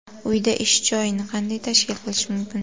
Uyda ish joyini qanday tashkil qilish mumkin?.